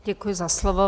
Děkuji za slovo.